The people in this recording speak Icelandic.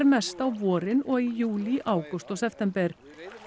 mest á vorin og í júlí ágúst og september